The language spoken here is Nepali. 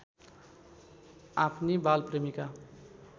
आफ्नी बाल प्रेमीका